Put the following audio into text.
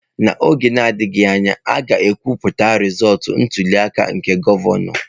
N'oge na-adịghị anya, a ga-ekwupụta rizọọtụ ntuli aka nke gọvanọ.